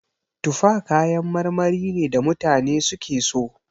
Tufa kayan marmari ne da mutane suke so.